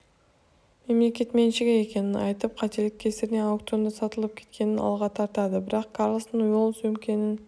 мемлекет меншігі екенін айтып қателік кесірінен аукционда сатылып кеткенін алға тартады бірақ карлсон ол сөмкенің